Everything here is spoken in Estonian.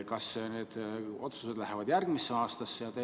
Kas need otsused lähevad järgmisesse aastasse?